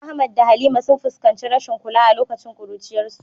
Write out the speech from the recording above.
Ahmad da Halima sun fuskanci rashin kula a lokacin kuruciyarsu.